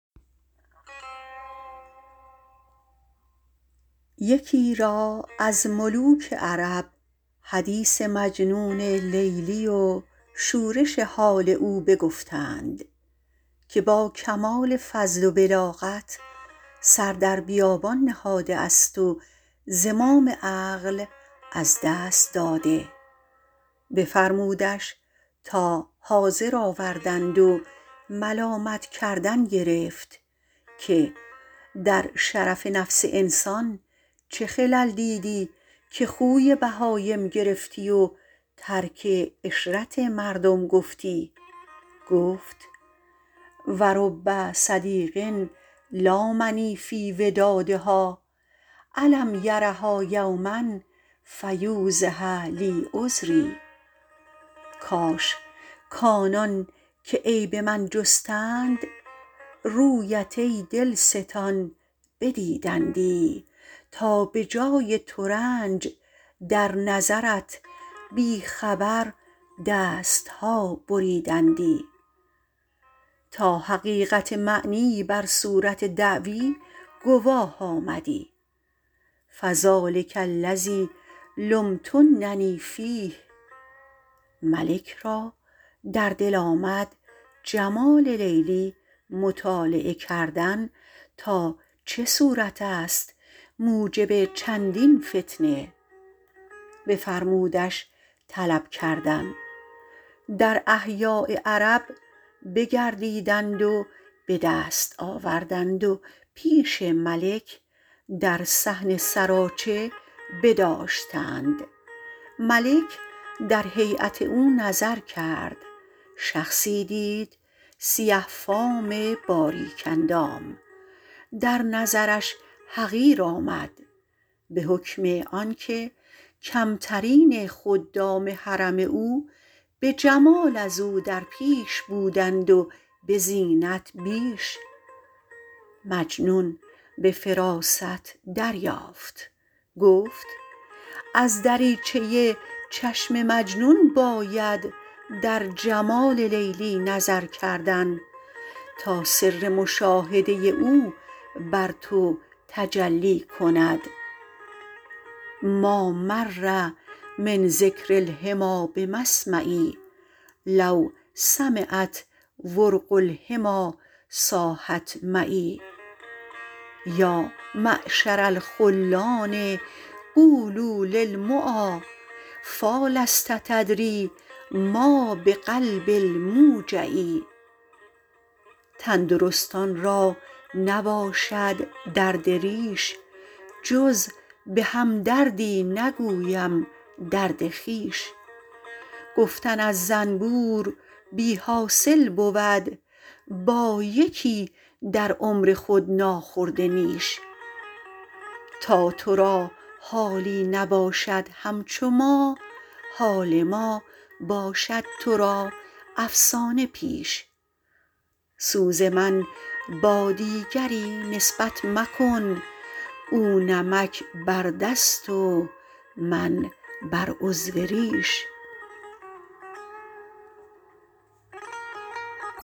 یکی را از ملوک عرب حدیث مجنون لیلی و شورش حال او بگفتند که با کمال فضل و بلاغت سر در بیابان نهاده است و زمام عقل از دست داده بفرمودش تا حاضر آوردند و ملامت کردن گرفت که در شرف نفس انسان چه خلل دیدی که خوی بهایم گرفتی و ترک عشرت مردم گفتی گفت و رب صدیق لامنی فی ودادها الم یرها یوما فیوضح لی عذری کاش کآنان که عیب من جستند رویت ای دلستان بدیدندی تا به جای ترنج در نظرت بی خبر دست ها بریدندی تا حقیقت معنی بر صورت دعوی گواه آمدی فذٰلک الذی لمتننی فیه ملک را در دل آمد جمال لیلی مطالعه کردن تا چه صورت است موجب چندین فتنه بفرمودش طلب کردن در احیاء عرب بگردیدند و به دست آوردند و پیش ملک در صحن سراچه بداشتند ملک در هیأت او نظر کرد شخصی دید سیه فام باریک اندام در نظرش حقیر آمد به حکم آن که کمترین خدام حرم او به جمال از او در پیش بودند و به زینت بیش مجنون به فراست دریافت گفت از دریچه چشم مجنون باید در جمال لیلی نظر کردن تا سر مشاهده او بر تو تجلی کند ما مر من ذکر الحمیٰ بمسمعی لو سمعت ورق الحمی صاحت معی یا معشر الخلان قولوا للمعا فیٰ لست تدری ما بقلب الموجع تندرستان را نباشد درد ریش جز به هم دردی نگویم درد خویش گفتن از زنبور بی حاصل بود با یکی در عمر خود ناخورده نیش تا تو را حالی نباشد همچو ما حال ما باشد تو را افسانه پیش سوز من با دیگری نسبت مکن او نمک بر دست و من بر عضو ریش